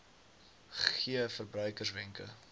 gee verbruikers wenke